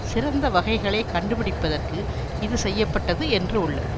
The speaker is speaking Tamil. சிறந்த வகைகளை கண்டுபிடிப்பதற்கு இது செய்ய பட்டது என்று உள்ளது